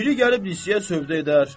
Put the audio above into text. Biri gəlib lisiyə sövdə edər.